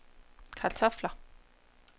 kartofler